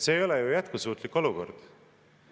See ei ole ju jätkusuutlik olukord.